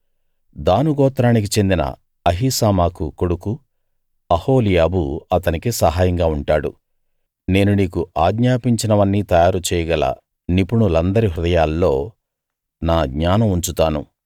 దాను గోత్రానికి చెందిన అహీసామాకు కొడుకు అహోలీయాబు అతనికి సహాయంగా ఉంటాడు నేను నీకు ఆజ్ఞాపించినవన్నీ తయారు చేయగల నిపుణులందరి హృదయాల్లో నా జ్ఞానం ఉంచుతాను